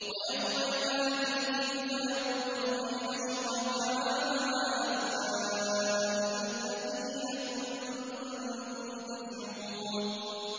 وَيَوْمَ يُنَادِيهِمْ فَيَقُولُ أَيْنَ شُرَكَائِيَ الَّذِينَ كُنتُمْ تَزْعُمُونَ